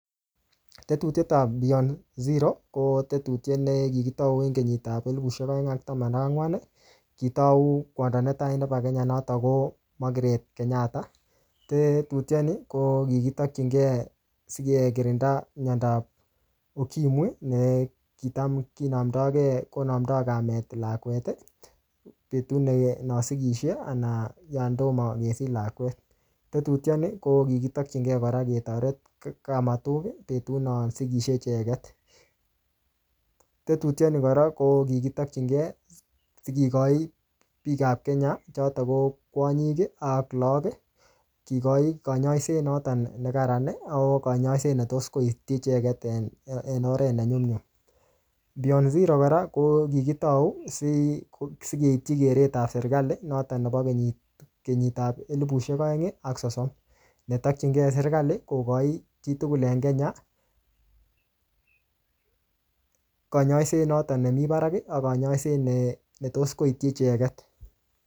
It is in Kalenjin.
Tetutiet ap beyond zero, ko tetutiet ne kikitau eng kenyit ap elepushek aeng ak taman ak angwan. Kitau kwondo netai nebo Kenya, notok ko Margaret Kenyatta. Tetutiet ni, ko kikitokchinkey sikekirinda miandob ukimwi, ne kitam kinamdoige konamdoi kamet lakwet, betut ne no sigishei anan yon tomo kesich lakwet. Tetutiet ni ko kiktokchinkey kora ketoret kamatuk, betut no sigisie icheket. Tetutiet ni kora, ko kikitokchinkey sigikochi biik ap Kenya, chotok ko kwonyik, ak lagok, kikochi kanyaiset notok ne kararan, ako kanyaiset netos kowekchi icheket en-en oret ne nyumnyum. Beyond zero kora, ko kikitau sikeipchi keret ap serikali, notok nebo kenyit-kenyit ap elepushek aeng ak sosom. Ne takchinkei serikali, kokochin chitugul en Kenya, kanyaiset notok nemii barak, ak kanyaiset ne-ne tos koitchi icheket